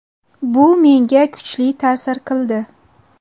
Bu menga kuchli ta’sir qildi.